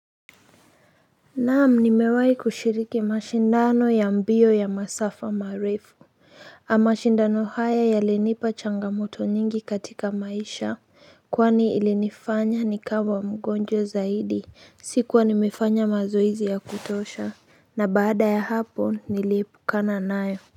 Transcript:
Naam nimewahi kushiriki mashindano ya mbio ya masafa marefu mashindano haya ya linipa changamoto nyingi katika maisha kwani ili nifanya ni kawa mgonjwa zaidi sikuwa nimefanya mazoezi ya kutosha na baada ya hapo niliepukana nayo.